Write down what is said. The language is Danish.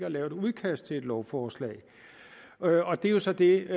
at lave et udkast til et lovforslag og det er jo så det